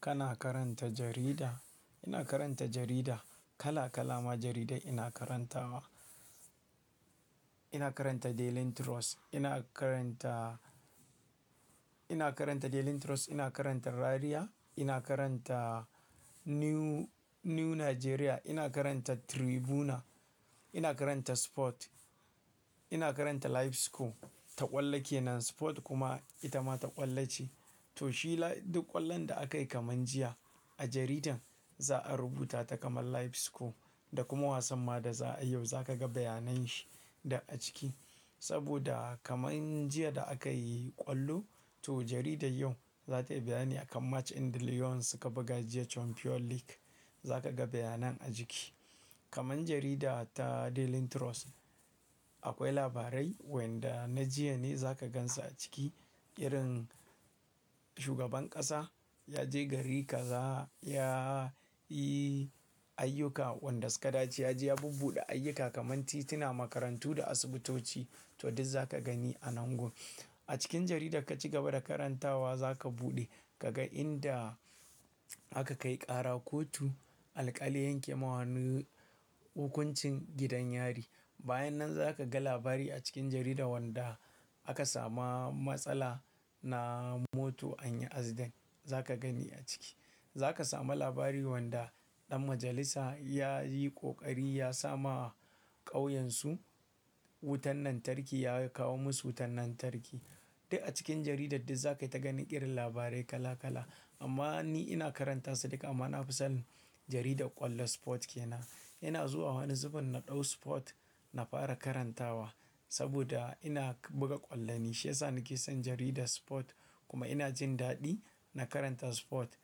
Kana karanta jarida? Ina karanta jarida. Kala-kala ma jaridai ina karantawa. Ina karanta Daily Trust, ina karanta, ina karanta Daily Trust, ina karanta Rariya, ina karanta New, New Nigeria, ina karanta Tribuna, ina karanta Sport, ina karanta Livescore, ta ƙwallake nan Sport kuma ita ma ta ƙwallace. To shi duk ƙwallon da aka yi kaman jiya a jaridan, za a rubuta ta kaman Livescore da kuma wasan ma da za a yi yau za ka ga bayanan shi da a ciki. Saboda kaman jiya da aka yi ƙwallo, to jaridar yau za ta yi bayani akan match in Lyon suka buga jiya Champion League, za ka ga bayanan a ciki. Kaman jarida ta Daily Trust akwai labarai wanda na jiya ne za ka gan su a ciki, irin shugaban ƙasa ya je gari kaza, ya yi ayyuka wanda suka dace. Ya je ya bubbuɗe ayyuka kaman tituna, makarantu da asibitoci to duk za ka gani a nan gobe. A cikin jarida ka ci gaba da karantawa za ka buɗe ka ga inda aka kai ƙara kotu, alƙali ya yanke mawanu hukuncin gidan yari. Bayanan za ka ga labari a cikin jarida wanda aka samu matsala na mota anyi aseri, za ka gani a ciki. Za ka samu labari wanda ɗan majalisa ya yi ƙoƙari ya sama a ƙauyen su wutan lantarki, ya kawo musu wutan lantarki. Duk a cikin jaridar duk za ka ta gani irin labarai kala-kala. Amma ni ina karanta su duka amma na fi son jaridar ƙwallon Sport ke nan. Ina zuwa wani zuben na ɗau Sport na fara karantawa saboda ina buga ƙwallo ne, shi ya sa nake son jaridar Sport kuma ina jin daɗi na karanta Sport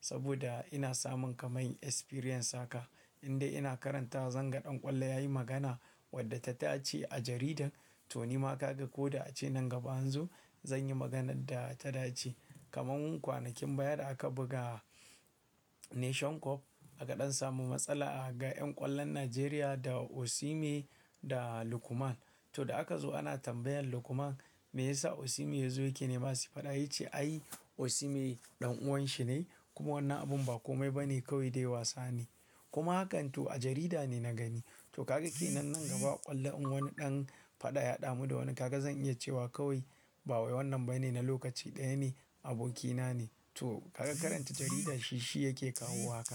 saboda ina samun kaman kwarewa haka. Inda ina karanta zan ga ɗan ƙwallo ya yi magana wadda ta dace a jarida, to ni ma ka ga ko da a ce nan gaba anzo zan yi maganar da ta dace. Kaman kwanakin baya da aka buga Nation Cup aka ɗan samu matsala a gaban ƴan ƙwallon Najeriya da Osimhen da Lukman. To da aka zo ana tambayan Lukman me ya sa Osimhen yazo yake nema si faɗa, ya ce ai Osimhen ɗan uwan shi ne kuma wannan abun ba kome ba ne kawai dai wasa ne. Kuma hakan to a jarida ne na gani. To ka ga ke nan nan gaba ƙwallon wani ɗan faɗa ya ɗamu da wani, kaga zan iya cewa kawai bawai wannan bai ne na lokaci ɗaya ne, abokina ne. To kaga karanta jarida shi, shi yake kawo haka.